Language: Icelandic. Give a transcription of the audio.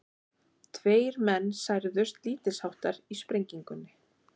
Tveir menn særðust lítilsháttar í sprengingunni